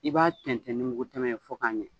I b'a tɛnɛ ni mugu tɛmɛn fɔ k'a ɲɛ.